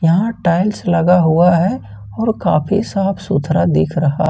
और टाइल्स लगा हुआ है और काफी साफ सुथरा दिख रहा--